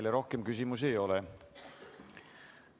Teile rohkem küsimusi ei ole.